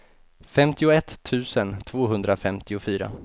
femtioett tusen tvåhundrafemtiofyra